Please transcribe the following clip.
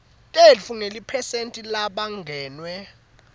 tetfu njengeliphesenti lalabangenwe